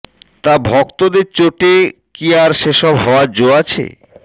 তা ভক্তদের চোটে কি আর সে সব হওয়ার জো আছে